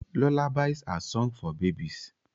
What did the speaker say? Lullabies are sunfg for babies